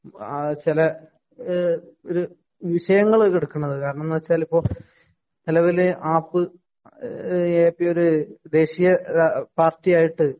ചെല ഒരു വിഷയങ്ങള് കെടക്കണത്. കാരണം എന്ന് വെച്ചാല്‍ ഇപ്പൊ നെലവില് ആപ്പ് എ പി ഒരു ദേശിയ പാര്‍ട്ടിയായിട്ട്